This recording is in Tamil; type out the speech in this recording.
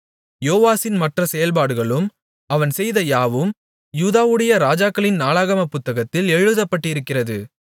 யோவாசின் மற்ற செயல்பாடுகளும் அவன் செய்த யாவும் யூதாவுடைய ராஜாக்களின் நாளாகமப் புத்தகத்தில் எழுதப்பட்டிருக்கிறது